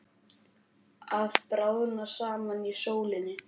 Að bráðna saman í sólinni